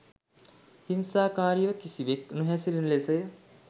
හිංසාකාරීව කිසිවෙක් නොහැසිරෙන ලෙසය.